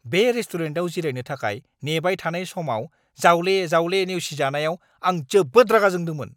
बे रेस्टुरेन्टआव जिरायनो थाखाय नेबाय थानाय समाव जावले-जावले नेवसिजानायाव आं जोबोद रागा जोंदोंमोन!